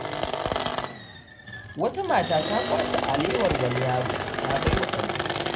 Wata mata ta ƙwace alewar wani yaro, ta bawa ɗanta.